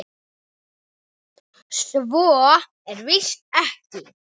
Svo er víst ekki.